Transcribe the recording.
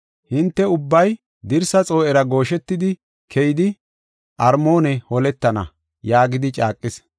Hinte ubbay dirsa xoo7era gooshetidi, keyidi, Armoone holetana” yaagis.